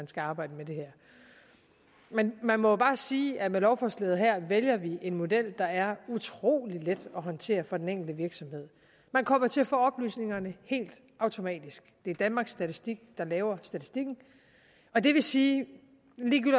skal arbejde med det her men man må jo bare sige at med lovforslaget her vælger vi en model der er utrolig let at håndtere for den enkelte virksomhed man kommer til at få oplysningerne helt automatisk det er danmarks statistik der laver statistikken og det vil sige